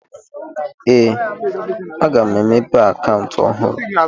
Ee, aga m emepe akaụntụ ọhụrụ